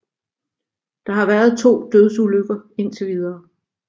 Der har været 2 dødsulykker ind til videre